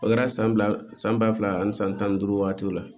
O kɛra san ba san san ba fila ani san tan ni duuru waatiw la